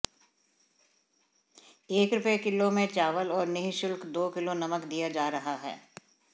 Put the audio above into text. एक रूपये किलो में चांवल और निःशुल्क दो किलो नमक दिया जा रहा है